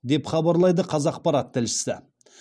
деп хабарлайды қазақпарат тілшісі